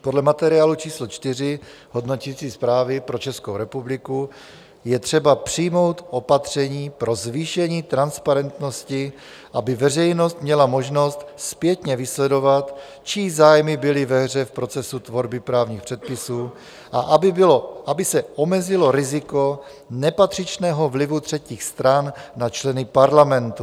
Podle materiálu číslo 4 hodnoticí zprávy pro Českou republiku je třeba přijmout opatření pro zvýšení transparentnosti, aby veřejnost měla možnost zpětně vysledovat, čí zájmy byly ve hře v procesu tvorby právních předpisů, a aby se omezilo riziko nepatřičného vlivu třetích stran na členy parlamentu.